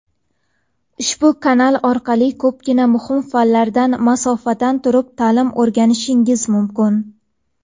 ushbu kanal orqali ko‘pgina muhim fanlardan masofadan turib ta’lim o‘rganishingiz mumkin.